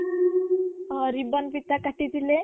ହଁ ribbon ଫିତା କାଟି ଥିଲେ